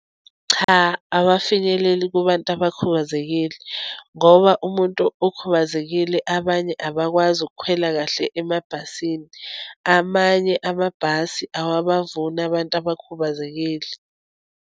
Cha, awafinyeleli kubantu abakhubazekile, ngoba umuntu okhubazekile, abanye abakwazi ukukhwela kahle emabhasini, amanye amabhasi awabavuni abantu abakhubazekile.